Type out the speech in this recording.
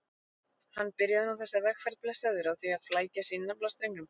Hann byrjaði nú þessa vegferð, blessaður, á því að flækja sig í naflastrengnum.